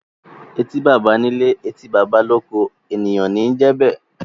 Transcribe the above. Eti bàbà ní ilé, etí bàbà l’oko; ènìyàn ní i jẹ be.